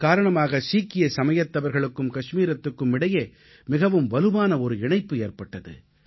இதன் காரணமாக சீக்கிய சமயத்தவர்களுக்கும் கஷ்மீரத்துக்கும் இடையே மிகவும் வலுவான ஒரு இணைப்பு ஏற்பட்டது